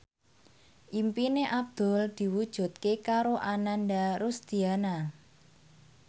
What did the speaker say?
impine Abdul diwujudke karo Ananda Rusdiana